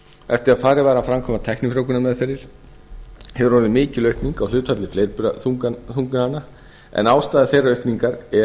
eftir að farið var að framkvæma tæknifjróvgaanrmeðferðir hefur orðið mikil aukning á hlutfalli fleirburaþungana en ástæða þeirrar aukningar er